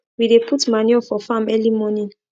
we dey put manure for farm early morning